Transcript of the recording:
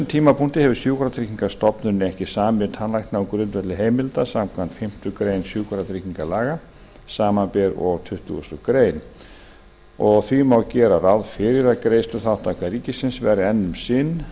tímapunkti hefur sjúkratryggingastofnun ekki samið við tannlækna á grundvelli heimilda samkvæmt fimmtu grein sjúkratryggingalaga samanber og tuttugustu greinar og því má gera ráð fyrir að greiðsluþátttaka ríkisins verði enn um sinn